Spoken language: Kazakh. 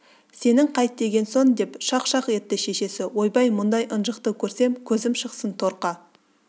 сенің қайт деген соң деп шақ-шақ етті шешесі ойбай бұндай ынжықты көрсем көзім шықсын торқа